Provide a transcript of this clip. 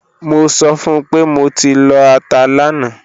Mo sọ fun pe mo ti lọ ata lana